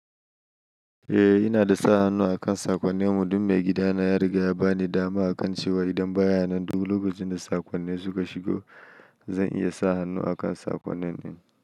Eh, ina da sa hannu akan saƙonnin mu. Dun me gidana ya riga ya ba ni dama akan cewa idan baya nan duk lokacin da saƙonnin suka shigo, zan iya sa hannu akan saƙonnin.